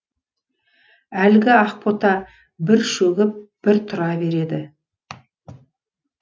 әлгі ақбота бір шөгіп бір тұра береді